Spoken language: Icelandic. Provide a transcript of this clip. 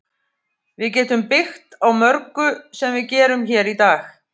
Við getum byggt á mörgu sem við gerum hér í dag.